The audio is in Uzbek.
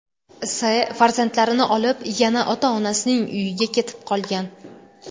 S. farzandlarini olib yana ota-onasining uyiga ketib qolgan.